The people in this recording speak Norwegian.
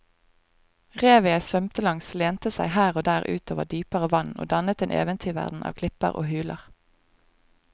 Revet jeg svømte langs lente seg her og der ut over dypere vann og dannet en eventyrverden av klipper og huler.